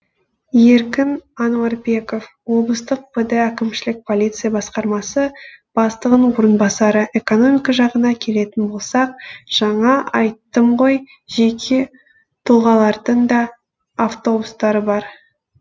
еркін ануарбеков облыстық пд әкімшілік полиция басқармасы бастығының орынбасары экономика жағына келетін болсақ жаңа айттым ғой жеке тұлғалардың да автобустары бар